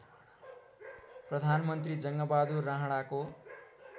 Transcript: प्रधानमन्त्री जङ्गबाहदुर राणाको